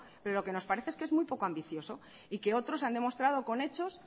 pero lo que nos parece es que es muy poco ambicioso y que otros han demostrado con hechos